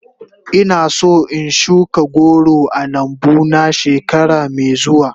Ina son in shuka goro a lambu na shekara mai zuwa.